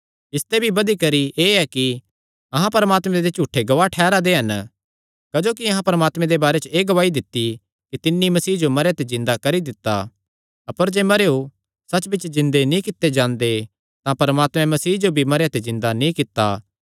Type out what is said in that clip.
इसते भी बधी करी एह़ कि अहां परमात्मे दे झूठे गवाह ठैह़रा दे हन क्जोकि अहां परमात्मे दे बारे च एह़ गवाही दित्ती कि तिन्नी मसीह जो मरेयां ते जिन्दा करी दित्ता अपर जे मरेयो सच्च बिच्च जिन्दे नीं कित्ते जांदे तां परमात्मे मसीह जो भी मरेयां ते जिन्दा नीं कित्ता